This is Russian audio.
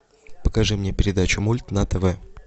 покажи мне передачу мульт на тв